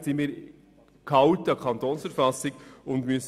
Entsprechend müssen wir uns an die Kantonsverfassung halten.